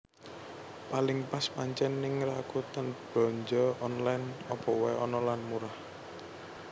Paling pas pancen ning Rakuten Belanja Online opo wae ono lan murah